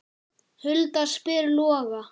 Hulda spyr Loga